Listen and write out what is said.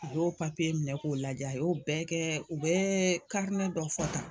U y'o minɛ k'o lajɛ, a y'o bɛɛ kɛ u bɛ dɔ fɔ tan